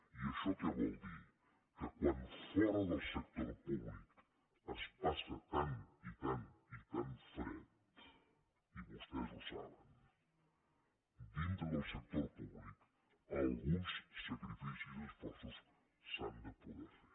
i això què vol dir que quan fora del sector públic es passa tant i tant fred i vostès ho saben dintre del sector públic alguns sacrificis i esforços s’han de poder fer